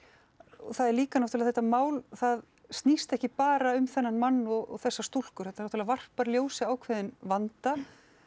og það er líka náttúrulega að þetta mál það snýst ekki bara um þennan mann og þessa stúlkur þetta náttúrulega varpar ljósi á ákveðinn vanda